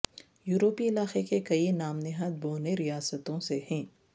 یورپی علاقے کے کئی نام نہاد بونے ریاستوں سے ہیں